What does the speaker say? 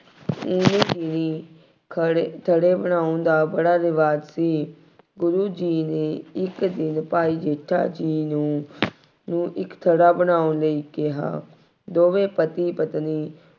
ਖੜ੍ਹੇ, ਥੜ੍ਹੇ ਬਣਾਉਣ ਦਾ ਬੜਾ ਰਿਵਾਜ਼ ਸੀ। ਗੁਰੂ ਜੀ ਨੇ ਇੱਕ ਦਿਨ ਭਾਈ ਜੇਠਾ ਜੀ ਨੂੰ ਇੱਕ ਥੜ੍ਹਾ ਬਣਾਉਣ ਲਈ ਕਿਹਾ। ਦੋਵੇਂ ਪਤੀ ਪਤਨੀ